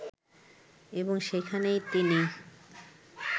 এবং সেখানে তিনি